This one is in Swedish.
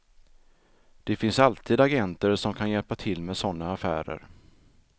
Det finns alltid agenter som kan hjälpa till med sådana affärer.